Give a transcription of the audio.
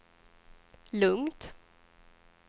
lugnt